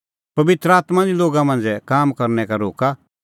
पबित्र आत्मां निं लोगा मांझ़ै काम करनै का रोक्का